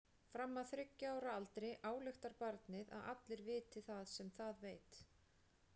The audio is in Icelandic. Fram að þriggja ára aldri ályktar barnið að allir viti það sem það veit.